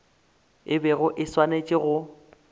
e bego e swanetše go